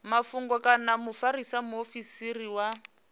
mafhungo kana mufarisa muofisiri wa